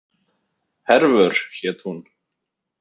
Hervör hét hún.